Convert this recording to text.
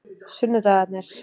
sunnudagarnir